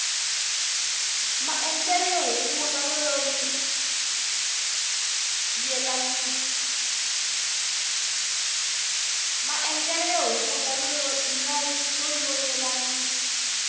maendlele yo hunguta no yelanisa